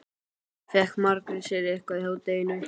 Fékk Margrét sér eitthvað í hádeginu?